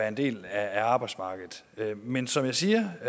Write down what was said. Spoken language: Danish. en del af arbejdsmarkedet men som jeg siger